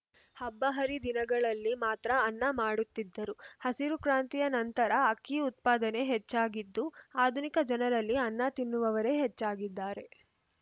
ಹಬ್ಬಹರಿ ದಿನಗಳಲ್ಲಿ ಮಾತ್ರ ಅನ್ನ ಮಾಡುತ್ತಿದ್ದರು ಹಸಿರುಕ್ರಾಂತಿಯ ನಂತರ ಅಕ್ಕಿ ಉತ್ಪಾದನೆ ಹೆಚ್ಚಾಗಿದ್ದು ಆಧುನಿಕ ಜನರಲ್ಲಿ ಅನ್ನ ತಿನ್ನುವವರೇ ಹೆಚ್ಚಾಗಿದ್ದಾರೆ